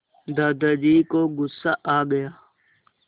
दादाजी को गुस्सा आ गया